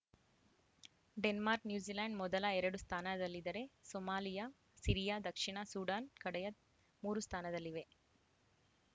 Denmark New Zealand ಮೊದಲ ಎರಡು ಸ್ಥಾನದಲ್ಲಿದ್ದರೆ ಸೋಮಾಲಿಯಾ ಸಿರಿಯಾ ದಕ್ಷಿಣ ಸೂಡಾನ್‌ ಕಡೆಯ ಮೂರು ಸ್ಥಾನದಲ್ಲಿವೆ